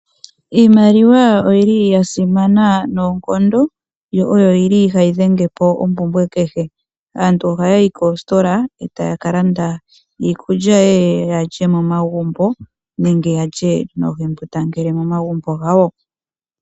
Iimaliwa oyi li ya simana noonkondo, yo oyo yi li hayi dhenge po ompumbwe kehe. Aantu ohaa yi koositola, e taa ka landa iikulya ye ye ya lye momagumbo nenge ya lye noohembundangele momagumbo gawo.